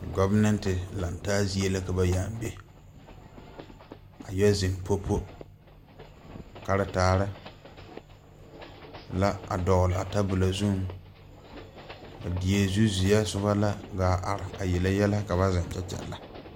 Gɔvemɛnte laŋtaa zie la ka ba yaa be a yɛ zeŋ po po karetaare la a dɔglaa tabolɔ zuŋ a die zu zeɛ sobɔ la gaa are a yele yɛlɛ ka ba zeŋ kyɛ kyɛlɛ.